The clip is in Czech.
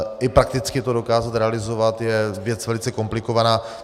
I prakticky to dokázat realizovat je věc velice komplikovaná.